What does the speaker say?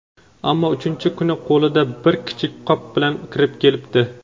ammo uchinchi kuni qo‘lida bir kichik qop bilan kirib kelibdi.